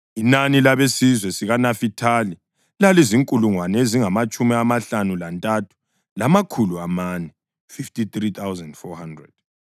Inani labesizwe sikaNafithali lalizinkulungwane ezingamatshumi amahlanu lantathu, lamakhulu amane (53,400).